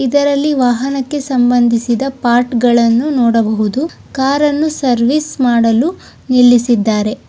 ಇದರಲ್ಲಿ ವಾಹನಕ್ಕೆ ಸಂಬಂಧಿಸಿದ ಪಾಠಗಳನ್ನು ನೋಡಬಹುದು ಕಾರನ್ನು ಸರ್ವಿಸ್ ಮಾಡಲು ನಿಲ್ಲಿಸಿದ್ದಾರೆ.